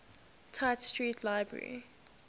tite street library